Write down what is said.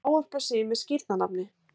að ávarpa sig með skírnarnafni.